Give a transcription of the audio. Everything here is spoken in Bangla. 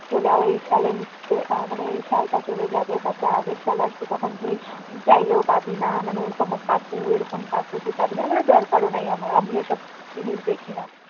চলে আয় এই সালের আহ মানে এই সালটা চলে যাবে তারপর আগের সাল আসবে তখন তুই চাইলেও পাবিনা মানে এরকম কাকু এরকম কাকু তুই পাবিনা আমি বললাম দরকারও নেই আমার আমি ওসব জিনিস দেখিনা